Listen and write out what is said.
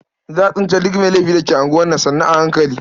Za a tsince duk mai laifin da ke unguwar nan sannu a hankali.